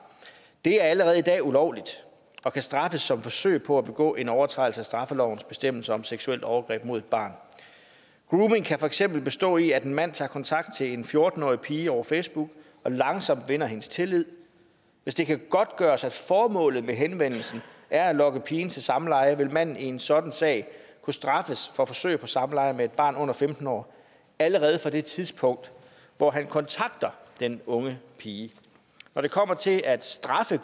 det er allerede i dag ulovligt og kan straffes som forsøg på at begå en overtrædelse af straffelovens bestemmelser om seksuelt overgreb mod et barn grooming kan for eksempel bestå i at en mand tager kontakt til en fjorten årig pige over facebook og langsomt vinder hendes tillid hvis det kan godtgøres at formålet med henvendelsen er at lokke pigen til samleje vil manden i en sådan sag kunne straffes for forsøg på samleje med et barn under femten år allerede fra det tidspunkt hvor han kontakter den unge pige når det kommer til at straffe